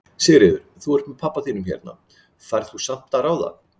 Sigríður: Þú ert með pabba þínum hérna, færð þú samt að ráða?